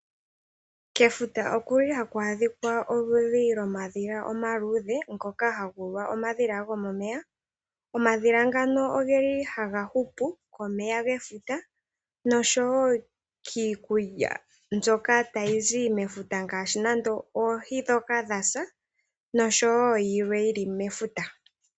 Kefuta okuli haku a dhika omadhila omaluudhe ngoka haguulwa omadhila gomomeya. Omadhila ngano ogeli haga hupu komeya gefuta nosho woo kiikulya mbyoka ta yi zi mefuta ngaashi nande oohi dhoka dha sa nosho woo yilwe mbyoka yili mefuta.